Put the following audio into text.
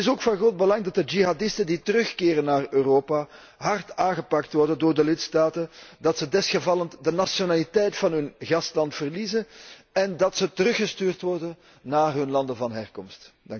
Het is ook van groot belang dat de jihadisten die terugkeren naar Europa hard aangepakt worden door de lidstaten, dat ze in bepaalde gevallen de nationaliteit van hun gastland verliezen en dat ze teruggestuurd worden naar hun landen van herkomst.